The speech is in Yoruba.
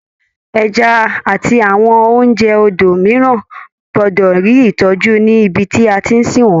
Ẹja àti àwọn oúnjẹ odò mìíràn gbọ́dọ̀ rí ìtọ́jú ní ibi tí a tí ń sìn wọ́n.